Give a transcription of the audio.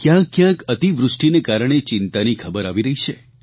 કોઈકોઈ સ્થળો પર અતિવૃષ્ટિને કારણે ચિંતાની ખબરો આવી રહી છે